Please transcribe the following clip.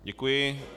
Děkuji.